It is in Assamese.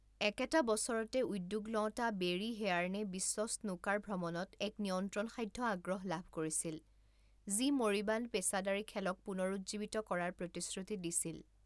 একেটা বছৰতে, উদ্যোগ লওঁতা বেৰী হেয়াৰ্নে বিশ্ব স্নুকাৰ ভ্ৰমণত এক নিয়ন্ত্ৰণসাধ্য আগ্ৰহ লাভ কৰিছিল, যি 'মৰিবাণ্ড' পেছাদাৰী খেলক পুনৰুজ্জীৱিত কৰাৰ প্ৰতিশ্ৰুতি দিছিল।